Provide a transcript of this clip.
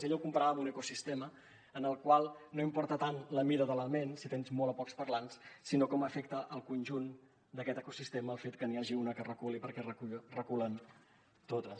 ella ho comparava amb un ecosistema en el qual no importa tant la mida de l’element si tens molts o pocs parlants sinó com afecta el conjunt d’aquest ecosistema el fet que n’hi hagi una que reculi perquè reculen totes